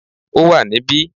Ó wà níbí